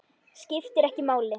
Skiptir ekki máli.